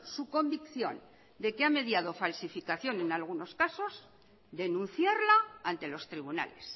su convicción de que ha mediado falsificación en algunos casos denunciarla ante los tribunales